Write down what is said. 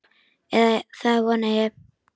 Eða það vona ég,